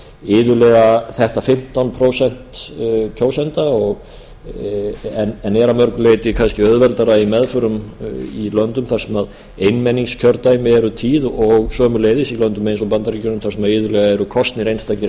iðulega þetta fimmtán prósent kjósenda en er að mörgu leyti kannski auðveldara í meðförum í löndum þar sem einmenningskjördæmi eru tíð og sömuleiðis í löndum eins og bandaríkjunum þar sem iðulega eru kosnir einstakir